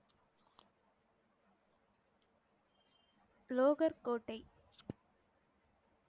லோகர் கோட்டை